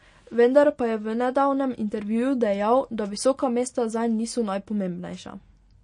Vendar pa je v nedavnem intervjuju dejal, da visoka mesta zanj niso najpomembnejša.